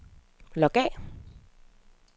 log af